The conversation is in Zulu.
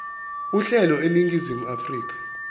uhlelo eningizimu afrika